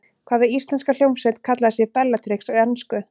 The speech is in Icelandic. Hvaða íslenska hljómsveit kallaði sig Bellatrix á ensku?